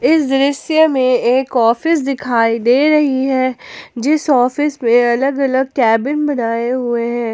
इस दृश्य में एक ऑफिस दिखाई दे रही है जीस ऑफिस में अलग अलग केबिन बनाए हुए हैं।